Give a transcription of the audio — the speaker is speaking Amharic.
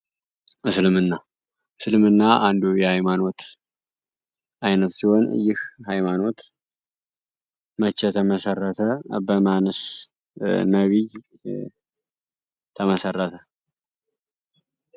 እስልምና እስልምና አንዱ የሀይማኖት አይነት ሲሆን ይህ ሃይማኖት መቼ ተመሰረተ በማንስ ተመሰረተ?